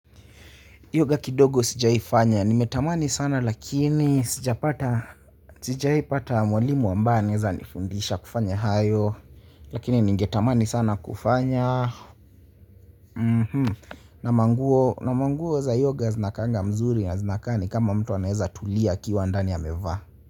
Yoga kidogo sijaifanya nimetamani sana lakini sijapata sijaipata mwalimu ambaye anaweza nifundisha kufanya hayo lakini ningetamani sana kufanya na manguo za yoga zinakaanga mzuri na zinakaa ni kama mtu anaeza tulia akiwa ndani amevaa.